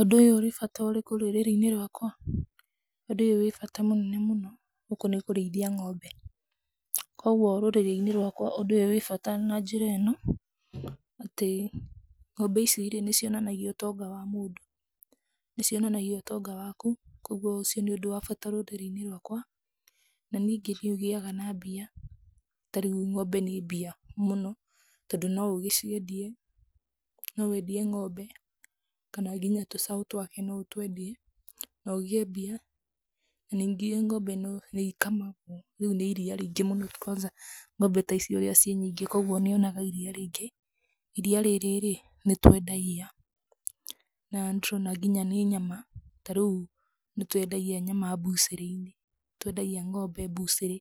Ũndũ ũyũ ũrĩ bata ũrĩkũ rũrĩrĩ-inĩ rwakwa? Ũndũ ũyũ wĩ bata mũnene mũno. Gũkũ nĩ kũrĩithia ng'ombe. Kwoguo rũrĩrĩ-inĩ rwakwa ũndũ ũyũ wĩ bata na njĩra ĩno: atĩ ng'ombe ici nĩ cionanagia ũtonga wa mũndũ, nĩ cionanagia ũtonga waku, kwoguo ũcio nĩ ũndũ wa bata rũrĩrĩ-ini rwakwa. Na ningĩ nĩ ũgĩaga na mbia. Ta rĩu ng'ombe nĩ mbia mũno, tondũ no ũgĩciendie, no wendie ng'ombe, kana nginya tũcaũ twake, no ũtwendie na ũgĩe mbia. Na ningĩ ng'ombe no nĩ ikamagwo. Rĩu nĩ iria rĩingĩ mũno kwanza ng'ombe ta ici ũrĩa ciĩ nyingĩ kwoguo nĩ onaga iria rĩingĩ. Iria rĩrĩ rĩ, nĩ twendagia na nĩ tũrona nginya nĩ nyama. Ta rĩu nĩ twendagia nyama mbucĩrĩ-inĩ, nĩ twendagia ng'ombe mbucĩrĩ,